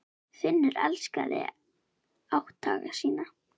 Finnur elskaði átthaga sína.